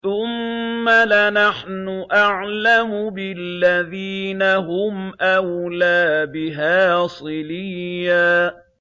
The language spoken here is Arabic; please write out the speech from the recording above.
ثُمَّ لَنَحْنُ أَعْلَمُ بِالَّذِينَ هُمْ أَوْلَىٰ بِهَا صِلِيًّا